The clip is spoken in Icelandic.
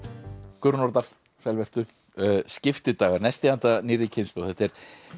Guðrún Nordal sæl vertu nesti handa nýrri kynslóð þetta er